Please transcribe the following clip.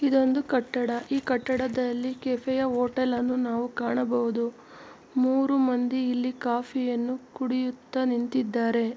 ಇದೊಂದು ಕಟ್ಟಡ ಈ ಕಟ್ಟಡದಲ್ಲಿ ಕೆಫೆಯ ಹೋಟೆಲ್ ಅನ್ನು ನಾವು ಕಾಣಬಹುದು ಮೂರು ಮಂದಿ ಇಲ್ಲಿ ಕಾಫಿಯನ್ನು ಕುಡಿಯುತ್ತಾ ನಿಂತಿದ್ದಾರೆ.